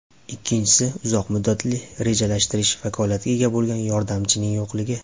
Ikkinchisi, uzoq muddatli rejalashtirish vakolatiga ega bo‘lgan yordamchining yo‘qligi.